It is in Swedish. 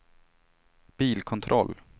bilkontroll